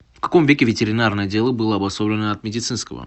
в каком веке ветеринарное дело было обособлено от медицинского